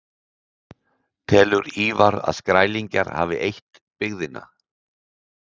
Telur Ívar að Skrælingjar hafi eytt byggðina.